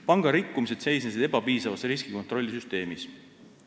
Panga rikkumised seisnesid ebapiisavas riskikontrollisüsteemis.